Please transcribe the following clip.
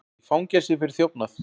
Í fangelsi fyrir þjófnað